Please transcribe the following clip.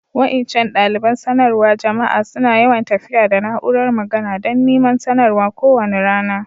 Wa'incan dalibain sanarwa jama'a suna yawan tafiya da na'úrar magana dan niman sanarwa ko wani rana.